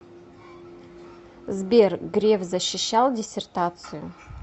сбер греф защищал диссертацию